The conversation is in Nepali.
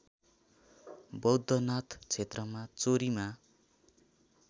बौद्धनाथ क्षेत्रमा चोरीमा